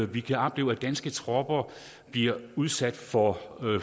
vi kan opleve at danske tropper bliver udsat for